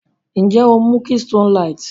Nje o mu Keystone light?